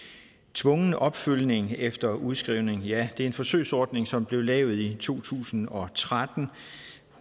tvungen opfølgning efter udskrivning ja det er en forsøgsordning som blev lavet i to tusind og tretten